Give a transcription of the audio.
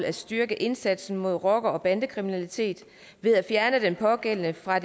at styrke indsatsen mod rocker og bandekriminalitet ved at fjerne den pågældende fra